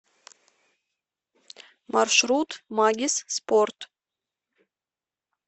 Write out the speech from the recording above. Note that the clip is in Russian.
маршрут магис спорт